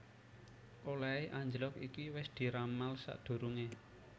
Olèhé anjlog iki wis diramal sadurungé